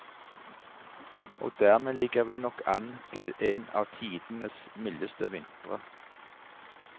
Og dermed ligger vi nok an til en av tidenes mildeste vintre.